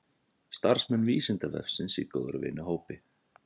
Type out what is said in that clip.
Starfsmenn Vísindavefsins í góðra vina hópi.